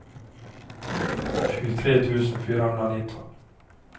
tjugotre tusen fyrahundranitton